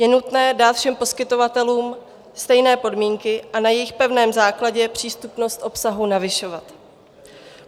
Je nutné dát všem poskytovatelům stejné podmínky a na jejich pevném základě přístupnost obsahu navyšovat.